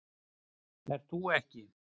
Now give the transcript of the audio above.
Ert þú ekki